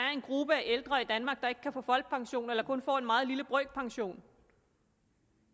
er en gruppe af ældre i danmark der ikke kan få folkepension eller kun får en meget lille brøkpension